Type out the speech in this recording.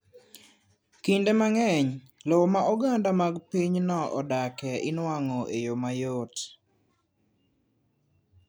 Kinde mang’eny, lowo ma oganda mag pinyno odake ilwalo e yo mayot.